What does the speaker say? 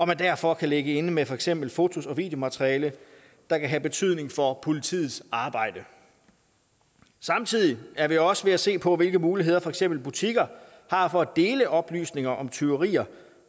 man derfor kan ligge inde med for eksempel fotos og videomateriale der kan have betydning for politiets arbejde samtidig er vi også ved at se på hvilke muligheder for eksempel butikker har for at dele oplysninger om tyverier